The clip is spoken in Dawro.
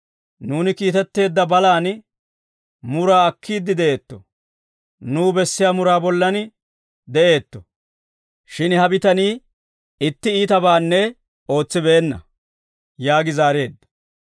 Nuuni kiitetteedda balaan muraa akkiidde de'eetto; nuw bessiyaa muraa bollan de'eetto; shin ha bitanii itti iitabaanne ootsibeenna» yaagi zaareedda.